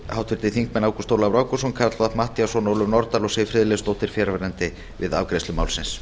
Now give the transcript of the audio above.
háttvirtir þingmenn ágúst ólafur ágústsson karl fimmti matthíasson ólöf nordal og siv friðleifsdóttir fjarverandi við afgreiðslu málsins